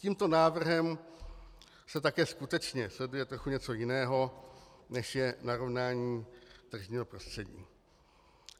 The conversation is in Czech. Tímto návrhem se také skutečně sleduje trochu něco jiného, než je narovnání tržního prostředí.